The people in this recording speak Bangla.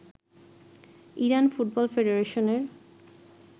Iran football ফেডাশনের